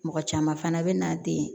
Mɔgɔ caman fana bɛ na den